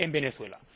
en Venezuela.